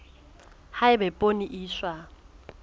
ha eba poone e iswa